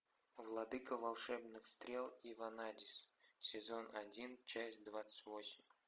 владыка волшебных стрел и ванадис сезон один часть двадцать восемь